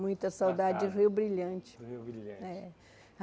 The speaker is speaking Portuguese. Muita saudade Da casa do Rio Brilhante. Rio Brilhante É